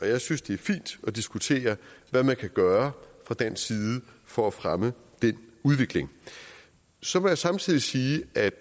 jeg synes det er fint at diskutere hvad man kan gøre fra dansk side for at fremme den udvikling så må jeg samtidig sige at